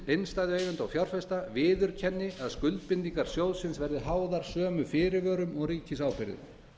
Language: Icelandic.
innstæðueigenda og fjárfesta viðurkenni að skuldbindingar sjóðsins verði háðar sömu fyrirvörum og ríkisábyrgðin